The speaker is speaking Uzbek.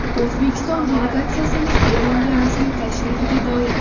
O‘zbekiston delegatsiyasining Eronga rasmiy tashrifiga doir.